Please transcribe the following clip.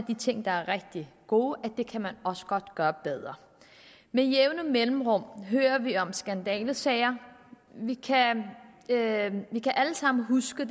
de ting der er rigtig gode kan man også godt gøre bedre med jævne mellemrum hører vi om skandalesager vi kan alle sammen huske